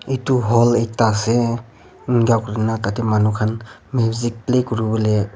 eto hall ekta ase inka kurina tati manu kan music beh kuriboley.